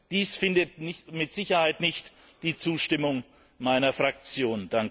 Dies findet mit Sicherheit nicht die Zustimmung meiner Fraktion!